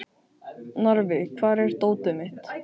Narfi, hvar er dótið mitt?